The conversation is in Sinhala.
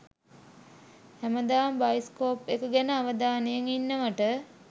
හැමදාම බයිස්කෝප් එක ගැන අවධානයෙන් ඉන්නවට.